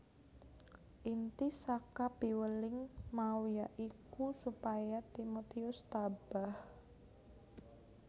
Inti saka piweling mau ya iku supaya Timotius tabah